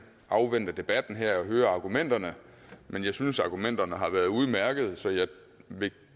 afvente debatten her og høre argumenterne men jeg synes argumenterne har været udmærkede så jeg vil